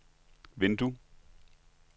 vindue